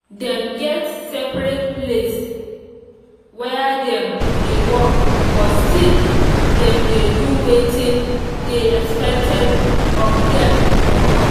dem get separate place where dem dey work but still dem dey do wetin dey expected of dem for house